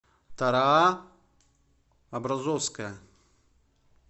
тара образовская